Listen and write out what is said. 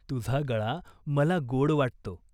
"तुझा गळा मला गोड वाटतो.